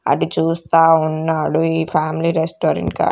అడి చూస్తా ఉన్నాడు ఈ ఫ్యామిలీ రెస్టారెంట్ కా --